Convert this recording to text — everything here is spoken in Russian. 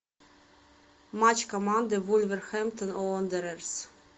матч команды вулверхэмптон уондерерс